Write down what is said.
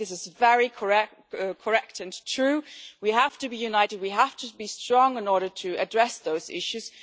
I think this is very correct and true we have to be united and we have to be strong in order to address those issues.